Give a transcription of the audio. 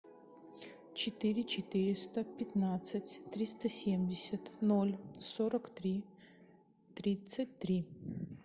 четыре четыреста пятнадцать триста семьдесят ноль сорок три тридцать три